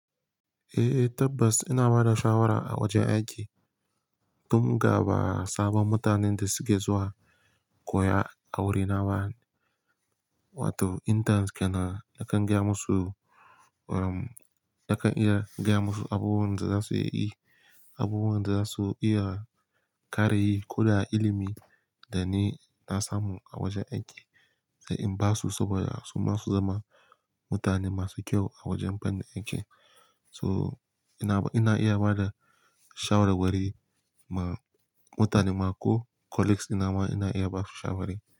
Eh, tabbas ina ba da shawara a wajen aiki. Tun ga ba sabon mutanen da suke zuwa koya awuri naba, wato interns kenan nakan gaya musu, um, nakan iya gaya musu abubuwan da za su iya yi, abubuwan da za su iya ƙarayi ko da ilimi da ni na samu a wajen aiki. Eh, in ba su saboda su ma su zama mutane masu kyau a wajen fannin aiki. So ina, ina iya ba da shawarwari ma mutane ma ko colleagues ɗina ma ina iya ba su shawari.